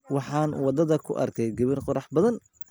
Waxaan wadada ku arkay gabar qurux badan